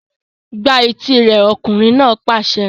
Gbá etí rẹ̀! Ọkùnrin náà pàṣẹ.